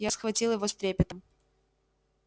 я схватил его с трепетом